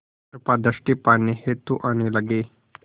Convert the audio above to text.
कृपा दृष्टि पाने हेतु आने लगे